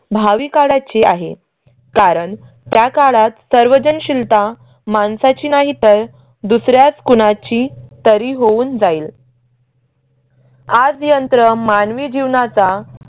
भावी काळाची आहे कारण त्या काळात सर्वजण शीलता माणसाची नाही तर दुसऱ्याच कुणाची तरी होऊन जाईल. आज यंत्र मानवी जीवनाचा